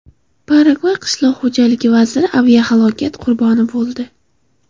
Paragvay qishloq xo‘jalik vaziri aviahalokat qurboni bo‘ldi.